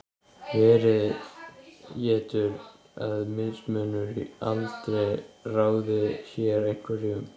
verið getur að mismunur í aldri ráði hér einhverju um